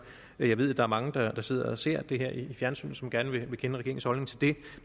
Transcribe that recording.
jeg ved at der er mange der sidder og ser det her i fjernsynet som gerne vil kende regeringens holdning til det